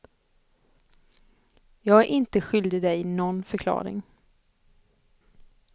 Jag är inte skyldig dig någon förklaring.